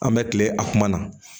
An bɛ kile a kuma na